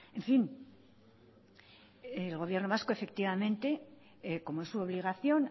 en fin el gobierno vasco efectivamente como es su obligación